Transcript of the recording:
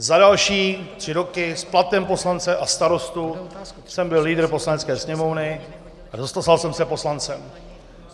Za další tři roky s platem poslance a starosty jsem byl lídrem Poslanecké sněmovny (?) a stal jsem se poslancem.